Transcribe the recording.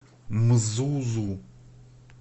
мзузу